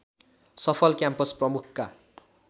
सफल क्याम्पस प्रमुखका